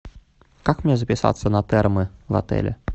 как мне записаться на термы в отеле